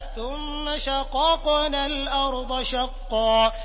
ثُمَّ شَقَقْنَا الْأَرْضَ شَقًّا